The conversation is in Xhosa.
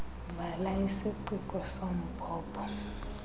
vala isiciko sombhobho